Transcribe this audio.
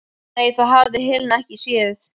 Nei, það hafði Helena ekki séð.